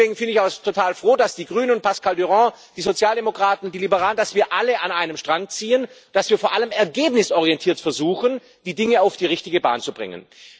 Und deswegen bin ich auch total froh, dass die Grünen und Pascal Durand, die Sozialdemokraten, die Liberalen, dass wir alle an einem Strang ziehen, dass wir vor allem ergebnisorientiert versuchen, die Dinge auf die richtige Bahn zu bringen.